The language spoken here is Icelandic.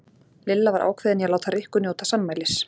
Lilla var ákveðin í að láta Rikku njóta sannmælis.